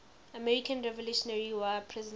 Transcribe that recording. american revolutionary war prisoners